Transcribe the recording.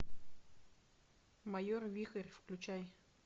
майор вихрь включай